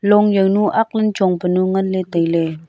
long zao nu akklan ne chongpu nu nganley tailey.